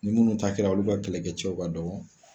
Ni minnu ta kɛra olu ka kɛlɛkɛcɛw ka dɔgɔ.